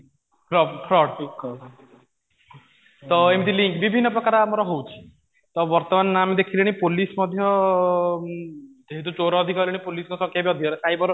fraud ତ ଏମିତି ବିଭିନ୍ନ ପ୍ରକାର ଆମର ହଉଚି ତ ବର୍ତ୍ତମାନ ଆମେ ଦେଖିଲେଣି ପୋଲିସ ମଧ୍ୟ ଯେହେତୁ ଚୋର ଅଧିକ ହେଲେଣି ପୋଲିସ ସଂଖ୍ୟା ବି ଅଧିକ ସାଇବର